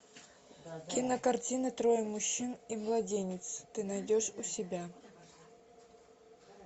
кинокартина трое мужчин и младенец ты найдешь у себя